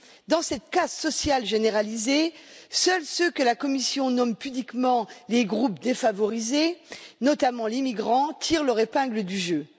Dans cette casse sociale généralisée, seuls ceux que la Commission nomme pudiquement les groupes défavorisés, notamment les migrants, tirent leur épingle du jeu.